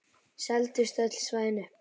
Seldust öll svæðin upp.